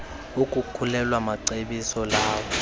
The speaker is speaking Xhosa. ukukhulelwa macebiso lawo